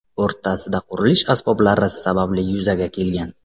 o‘rtasida qurilish asboblari sababli yuzaga kelgan.